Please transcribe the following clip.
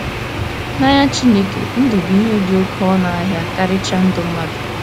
N’anya Chineke, ndụ bụ ihe dị oké ọnụ ahịa, karịchaa ndụ mmadụ.